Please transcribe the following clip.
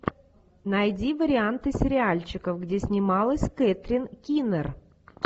найди варианты сериальчиков где снималась кэтрин кинер